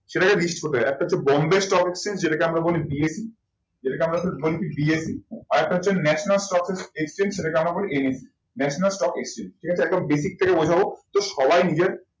সেটাকে list করতে হয়। একটা হচ্ছে বোম্বের stock exchange যেটাকে আমরা বলি BSE আর একটা হচ্ছে national stock exchange সেটাকে আমরা বলি NSE national stock exchange ঠিক আছে একদম basic থেকে বোঝাবো।